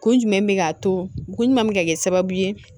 Kun jumɛn bɛ k'a to ko ɲuman bɛ kɛ sababu ye